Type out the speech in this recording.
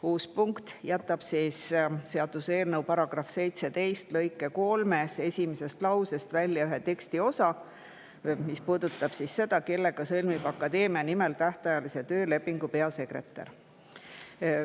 Uus punkt jätab seaduseelnõu § 17 lõike 3 esimesest lausest välja ühe tekstiosa, mis puudutab seda, kellega sõlmib akadeemia nimel tähtajalise töölepingu peasekretär.